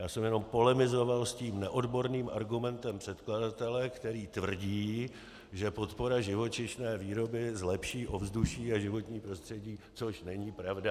Já jsem jenom polemizoval s tím neodborným argumentem předkladatele, který tvrdí, že podpora živočišné výroby zlepší ovzduší a životní prostředí, což není pravda.